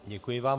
Děkuji vám.